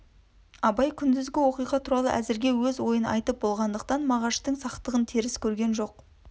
абай күндізгі уақиға туралы әзіргі өз ойын айтып болғандықтан мағаштың сақтығын теріс көрген жоқ